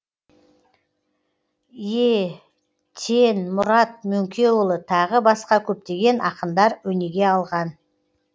е тен мұрат мөңкеұлы тағы басқа көптеген ақындар өнеге алған